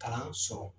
Kalan sɔrɔ